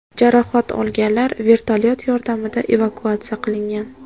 Jarohat olganlar vertolyot yordamida evakuatsiya qilingan.